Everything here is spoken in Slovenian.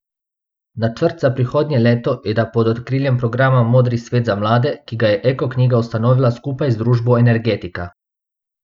Načrt za prihodnje leto je, da pod okriljem programa Modri svet za mlade, ki ga je Eko knjiga ustanovila skupaj z družbo Energetika.